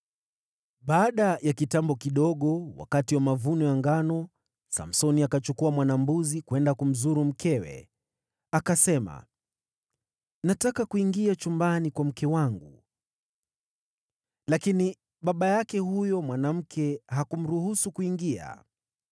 Baada ya kitambo kidogo, wakati wa mavuno ya ngano, Samsoni akachukua mwana-mbuzi, kwenda kumzuru mkewe. Akasema, “Nataka kuingia chumbani kwa mke wangu.” Lakini baba yake huyo mwanamke hakumruhusu kuingia.